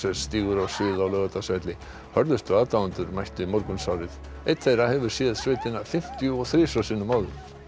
stígur á svið á Laugardalsvelli hörðustu aðdáendurnir mættu í morgunsárið einn þeirra hefur séð sveitina fimmtíu og þrisvar sinnum áður